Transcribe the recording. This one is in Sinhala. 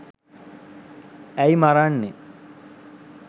ඇයි මරන්නෙ